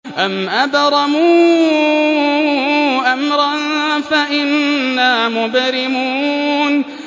أَمْ أَبْرَمُوا أَمْرًا فَإِنَّا مُبْرِمُونَ